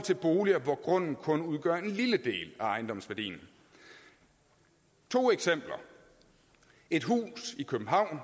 boliger hvor grunden kun udgør en lille del af ejendomsværdien to eksempler et hus i københavn